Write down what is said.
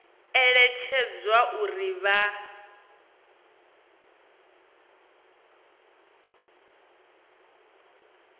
eletshedzwa uri vha tea u